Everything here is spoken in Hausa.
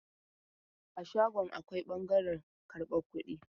A shagon akwai ɓangaren karban kudi.